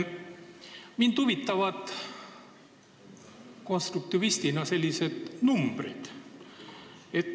Mind konstruktivistina huvitavad numbrid.